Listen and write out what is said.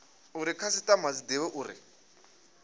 uri khasitama dzi divhe uri